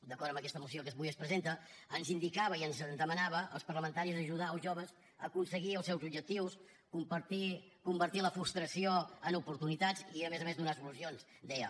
d’acord amb aquest moció que avui es presenta ens indicava i ens demanava als parlamentaris ajudar els joves a aconseguir els seus objectius convertir la frustració en oportunitats i a més a més donar solucions deia